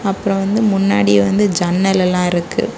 அப்புறம் வந்து முன்னாடி வந்து ஜன்னல் எல்லாம் இருக்கு.